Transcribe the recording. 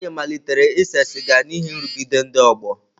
Ifeanyi malitere ise siga n'ihi nrụgide ndị ọgbọ.